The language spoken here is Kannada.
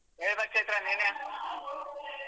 ಹೇಳ್ಬೇಕ್ ಚೈತ್ರ ನೀನೇ.